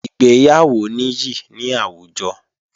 Ìgbéyàwó níyì ní àwùjọ